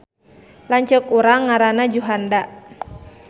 Lanceuk urang ngaranna Juhanda